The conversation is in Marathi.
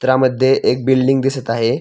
चित्रामध्ये एक बिल्डींग दिसत आहे.